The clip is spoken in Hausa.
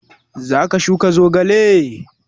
Za ka shuka zogale?